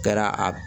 Kɛra a